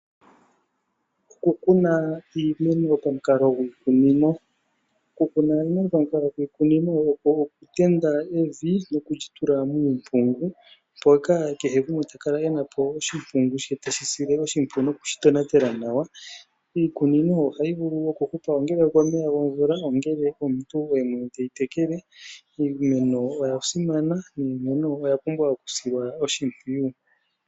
Okukuna iimeno pamukalo gwiimeno. Oku kuna iimeno pamukalo gwiimeno okwo oku kenda evi noku ndji tula muumpungu. Mpoka omuntu ta vulu oku kala ena oshimpungungu she teshi sile oshimpwiyu nokushi tonatela nawa. Iikunino ohayi vulu oku hupa komeya gomvula ongele omuntu oye mwene teyi tekele niimeno oya pumbwa oku silwa oshimpwiyu.